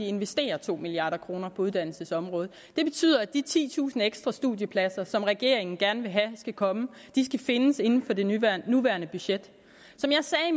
investere to milliard kroner på uddannelsesområdet det betyder at de titusind ekstra studiepladser som regeringen gerne vil have skal komme skal findes inden for det nuværende budget som jeg sagde